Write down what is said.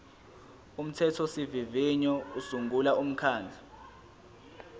umthethosivivinyo usungula umkhandlu